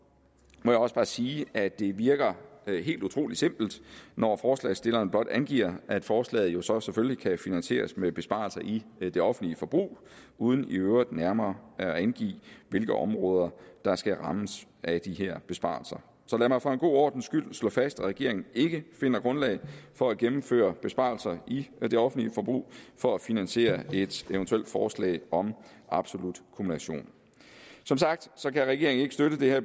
må jeg også bare sige at det virker helt utrolig simpelt når forslagsstillerne blot angiver at forslaget jo så selvfølgelig kan finansieres med besparelser i det offentlige forbrug uden i øvrigt nærmere at angive hvilke områder der skal rammes af de her besparelser så lad mig for en god ordens skyld slå fast at regeringen ikke finder grundlag for at gennemføre besparelser i det offentlige forbrug for at finansiere et eventuelt forslag om absolut kumulation som sagt kan regeringen ikke støtte det her